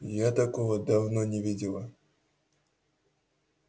я такого давно не видела